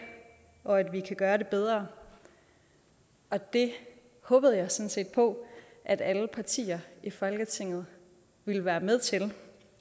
og at vi kan gøre det bedre og det håbede jeg sådan set på at alle partier i folketinget ville være med til